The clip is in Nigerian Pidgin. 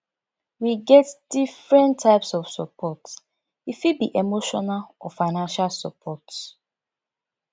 we get different types of support e fit be emotional or financial support